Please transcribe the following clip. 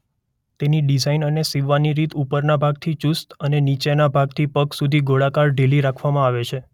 તેની ડિઝાઇન અને સીવવાની રીત ઉપરના ભાગથી ચુસ્ત અને નીચેના ભાગથી પગ સુધી ગોળાકાર ઢીલી રાખવામાં આવે છે.